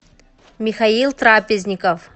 михаил трапезников